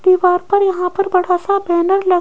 दीवार पर यहां पर बड़ा सा बैनर ल--